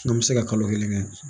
N'an bɛ se ka kalo kelen kɛ